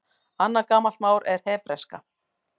Annað gamalt mál er hebreska.